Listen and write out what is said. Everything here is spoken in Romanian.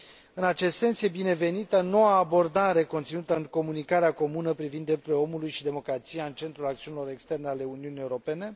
În acest sens e binevenită noua abordare conținută în comunicarea comună privind drepturile omului și democrația în centrul acțiunilor externe ale Uniunii Europene.